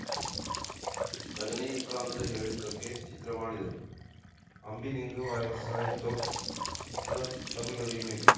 ರಜನಿಕಾಂತ್‌ ಹೇಳಿದ್ದಕ್ಕೆ ಚಿತ್ರ ಮಾಡಿದರು ಅಂಬಿ ನಿಂಗ್‌ ವಯಸ್ಸಾಯ್ತೋ ಚಿತ್ರ ತಮಿಳು ರೀಮೇಕ್‌